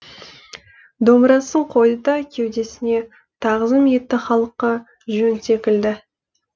домбырасын қойды да кеудесіне тағзым етті халыққа жөн секілді